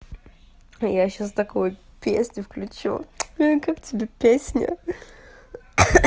я сейчас такую песню включу как тебе песня